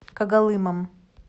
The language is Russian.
когалымом